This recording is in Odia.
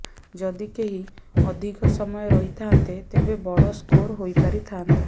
ଯଦି କେହି ଅଧିକ ସମୟ ରହିଥାନ୍ତେ ତେବେ ବଡ ସ୍କୋର୍ ହୋଇପାରିଥାନ୍ତା